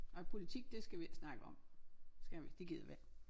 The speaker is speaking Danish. Og æ politik det skal vi ikke snakke om skal vi ikke det gider vi ikke